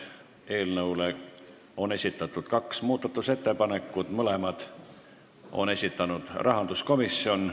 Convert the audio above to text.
Eelnõu kohta on esitatud kaks muudatusettepanekut, mõlemad on esitanud rahanduskomisjon.